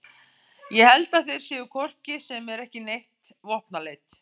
Ég held að þeir séu hvort sem er ekki með neitt vopnaleit